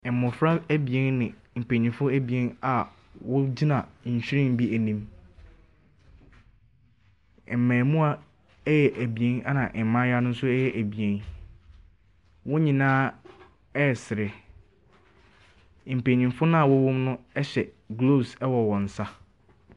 Mbɔfra ebien ne mpaninfoɔ ebien a wogyina nhwiren bi enim. Mbɛɛmua ɛyɛ ebien ɛna mbaayewa no so ɛyɛ ebien. Wonyinaa ɛsere , mpanninfo na wɔwɔ mu no ɛhyɛ glovs wɔ.